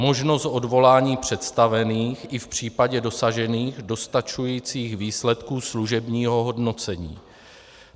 Možnost odvolání představených i v případě dosažených dostačujících výsledků služebního hodnocení.